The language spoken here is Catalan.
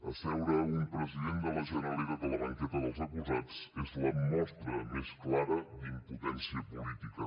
asseure un president de la generalitat a la banqueta dels acusats és la mostra més clara d’impotència política